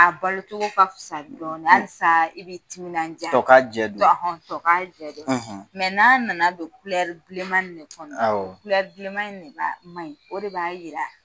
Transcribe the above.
A balo cogo ka fisa dɔɔni halisa i bɛ timinandiya, tɔ ka jɛn don, ,tɔ ka jɛn don. . Mɛ n'a nana don bilenman ni de kɔnɔ, awɔ, bilenman de ma ɲi o de b'a yira